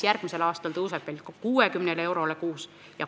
Järgmisel aastal tõuseb see toetus 60 eurole kuus.